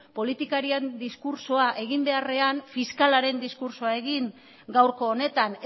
politikarien diskurtsoa egin beharrean fiskalaren diskurtsoa egin gaurko honetan